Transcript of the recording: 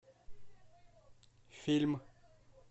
фильм